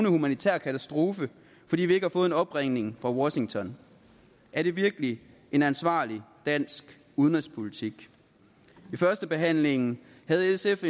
humanitær katastrofe fordi vi ikke har fået en opringning fra washington er det virkelig en ansvarlig dansk udenrigspolitik i førstebehandlingen havde sf